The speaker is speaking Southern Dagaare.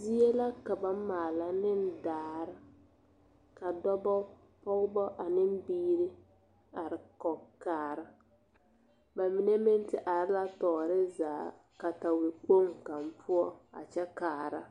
Zie la ka ba maala ne daare ka dɔba pɔgeba ane biiri are kɔge kaara ba mine meŋ te are la tɔɔre zaa katawekpoŋ kaŋ poɔ a kyɛ kaara